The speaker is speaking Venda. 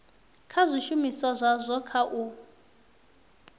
kha zwishumiswa zwazwo kha u